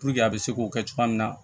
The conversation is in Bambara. a bɛ se k'o kɛ cogoya min na